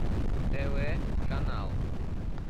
тв канал